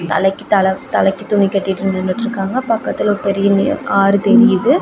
தலைக்கு தல தலைக்கு துணி கட்டிட்டு நின்னுட்டு இருக்காங்க பக்கத்துல ஒரு பெரிய நிற ஆறு தெரியுது.